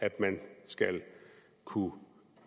at man skal kunne